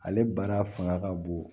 Ale baara fanga ka bon